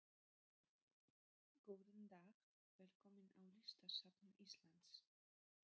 Góðan dag. Velkomin á Listasafn Íslands.